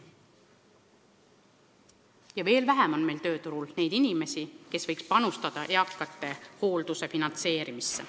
Ja siis on veel vähem tööturul inimesi, kes võiksid panustada eakate hoolduse finantseerimisse.